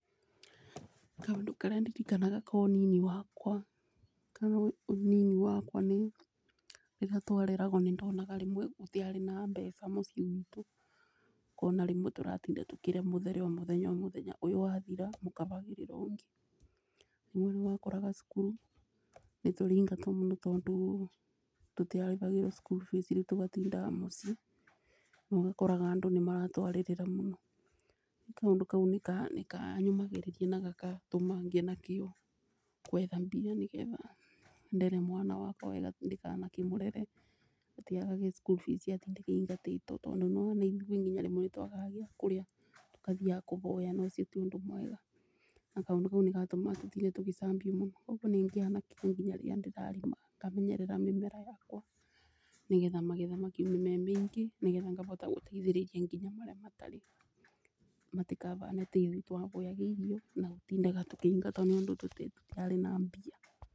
Kaũndũ karĩa ndirikanaga ka ũnini wakwa nĩ rĩrĩa twareragwo nĩ ndonaga rĩmwe nĩ tũtiarĩ na mbeca mũciĩ gwitũ ũkona rĩmwe tũratinda tũkirĩa mũthere o mũthenya o mũthenya ũyũ wathira mũkabagĩrĩrwo ũngĩ. Rĩmwe nĩwakoraga cukuru nĩ tũraingatwo mũno tondũ tũtiarĩhagĩrwo cukuru fees rĩu tũgatinda mũci rĩu ũgakoraga andũ nĩ maratwarĩrira mũno. Kũndũ kau nĩkanyũmagĩrĩria na gakatũma ngĩe na kio kwetha mbia nĩ getha ndere mwana wakwa wega ndikana kĩmũrere atĩ agage school fees atindage aingatĩtwo. Tondũ nĩ wona nginya rĩmwe nĩ twagaga gĩ kũrĩa tũgathiaga kũboya na ũcio ti ũndũ mwega, na kaũndũ kau nĩ gatũmaga tũtinde tũgĩcambio mũno. Koguo nĩ ngĩyaga na kĩo nginya rĩrĩa ndĩrarĩma ngamenyerera mĩmera yakwa nĩ getha magetha makiume maingĩ nĩ getha ngahota gũteithĩriria nginya marĩa matarĩ, matikahane ta ithuĩ twaboyaga irio na gũtindaga tũkĩingatwo tondũ tutiarĩ na mbia.